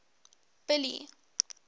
billy